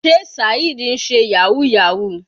Sé Saheed ń ṣe yahoo yahoo.